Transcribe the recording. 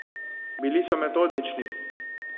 Bili so metodični.